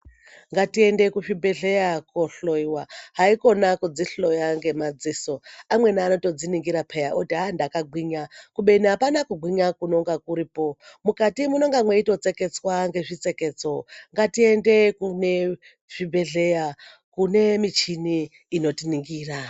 Ngatiende kuzvibhedhlera kohloiwa haikona kudzihloya ngemadziso, amweni anotodziningira peya oti aa ndakagwinya kubeni apana kugwinya kunonga kuripo mukati munonga meitotseketswa nezvitseketso ngatiende kune zvibhedhlera kune michini inotiningira.